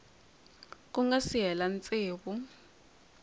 ku nga si hela tsevu